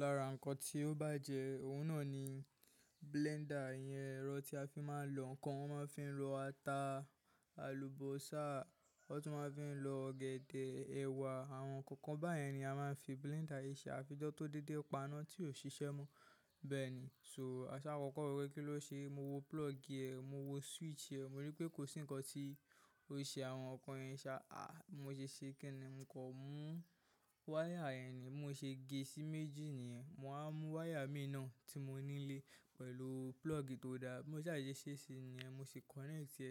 Lára àwọn ǹkan tí ó bàjẹ́, òun náà ni blender iyẹn ẹ̀rọ tí a fi máa ń lọ ǹkan. Wọ́n máa ń fi lọ ata, àlùbọ́sà, wọ́n tún máa ń fi lọ ọ̀gẹ̀dẹ̀, ẹ̀wà àwọn ǹkankan báyẹn ni a máa ń fi blender ṣe. A fi ijọ́ tó dédé, pa'ná tí ò ṣiṣẹ́ mọ́. Bẹ́ẹ̀ni, só àṣá kọ́kọ́ wo pé kí ló ṣe mo wo plug ẹ, mo wo switch ẹ, mo rí pé kò sí ǹkan tí ó ṣe àwọn ǹkan yẹn ṣa. Mo ṣe ṣé kiní, mo kan mú wire yẹn ni bimo ṣe gé sí méjì niyẹ́n. Mo wá mú wire mii náà tí mo ni n lé pẹ̀lú plug tó da. Bi mo sà ṣe ṣesi niyẹ́n, mo sì connect ẹ.